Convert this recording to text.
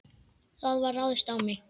Það var ráðist á mig.